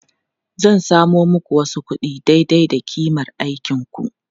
Zan samo muku wasu kuɗi daidai da ƙimar aikinku.